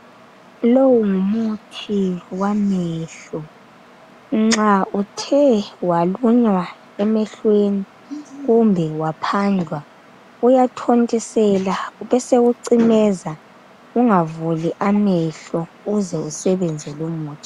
Lowu ngumuthi wamehlo nxa uthe walunywa emehlweni kumbe waphandlwa. Uyathontiselwa besewu cimeza ungavuli amehlo uze usebenze lumuthi.